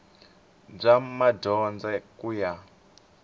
i bya madyondza ku ya